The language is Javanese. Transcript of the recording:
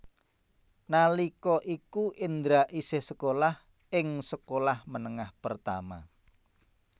Nalika iku Indra isih sekolah ing sekolah menengah pertama